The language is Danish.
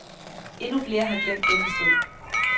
Endnu flere har glemt denne strid.